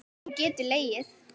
Hún getur legið.